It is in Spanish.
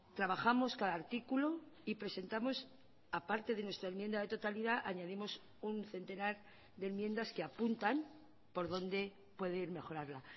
trabajamos cada artículo y presentamos a parte de nuestra enmienda de totalidad añadimos un centenar de enmiendas que apuntan por donde puede ir mejorarla